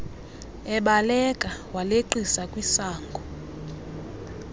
ebaleka waleqisa kwisango